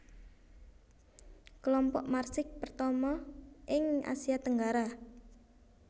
Kelompok Marsix pertama ing Asia Tenggara